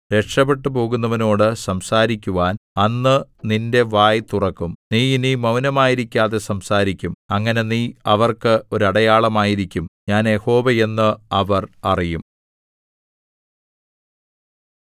രക്ഷപെട്ടുപോകുന്നവനോടു സംസാരിക്കുവാൻ അന്ന് നിന്റെ വായ് തുറക്കും നീ ഇനി മൗനമായിരിക്കാതെ സംസാരിക്കും അങ്ങനെ നീ അവർക്ക് ഒരു അടയാളമായിരിക്കും ഞാൻ യഹോവ എന്ന് അവർ അറിയും